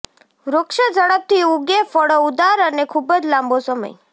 વૃક્ષ ઝડપથી ઊગે ફળો ઉદાર અને ખૂબ જ લાંબો સમય